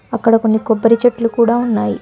అక్కడ కొన్ని కొబ్బరి చెట్లు కూడా.